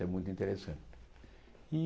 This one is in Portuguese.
É muito interessante. E